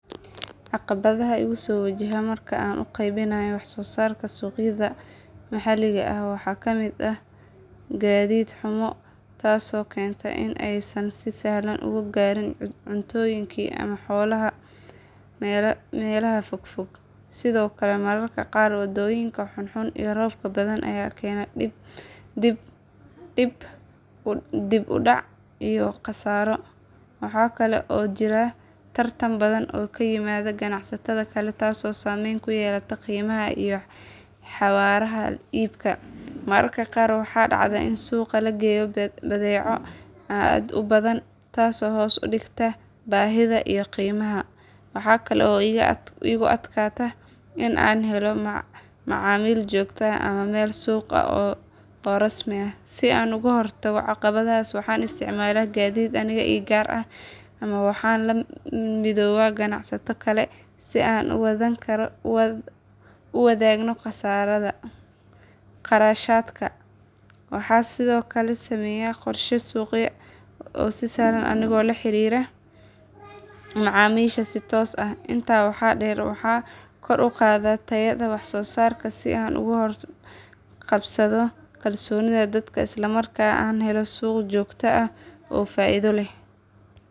Caqabadaha igu soo wajaha marka aan u qaybinayo wax soo saarkayga suuqyada maxaliga ah waxaa ka mid ah gaadiid xumo taasoo keenta in aanay si sahlan u gaarin cuntooyinka ama xoolaha meelaha fogfog. Sidoo kale mararka qaar waddooyinka xun iyo roobka badan ayaa keena dib u dhac iyo khasaaro. Waxaa kale oo jira tartan badan oo ka yimaada ganacsatada kale taasoo saameyn ku yeelata qiimaha iyo xawaaraha iibka. Mararka qaar waxaa dhacda in suuqa la geeyo badeeco aad u badan taasoo hoos u dhigta baahida iyo qiimaha. Waxa kale oo igu adkaata in aan helo macaamiil joogto ah ama meel suuq ah oo rasmi ah. Si aan uga hortago caqabadahaas waxaan isticmaalaa gaadiid aniga ii gaar ah ama waxaan la midoobaa ganacsato kale si aan u wadaagno kharashaadka. Waxaan sidoo kale sameeyaa qorshe suuqgeyn oo sahlan anigoo la xiriira macaamiisha si toos ah. Intaa waxaa dheer waxaan kor u qaadaa tayada wax soo saarka si aan ugu kasbado kalsoonida dadka isla markaana aan u helo suuq joogto ah oo faa'iido leh.